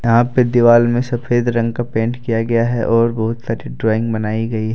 यहां पे दीवाल में सफेद रंग का पेंट किया गया है और बहुत सारी ड्राइंग बनाई गई है।